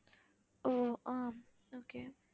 um ah okay